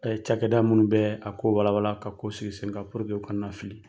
ca kɛ da munnu bɛ a ko wala wala ka' sigi sen kan kana fili.